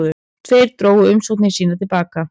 Tveir drógu umsóknir sínar til baka